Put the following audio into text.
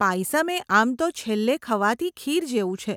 પાયસમ એ આમ તો છેલ્લે ખવાતી ખીર જેવું છે.